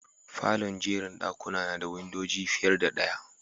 Falon'jerin dakuna na da windodi fiyar da daya.